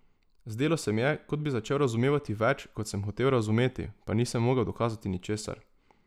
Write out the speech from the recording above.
Zdelo se mi je, kot bi začel razumevati več, kot sem hotel razumeti, pa nisem mogel dokazati ničesar.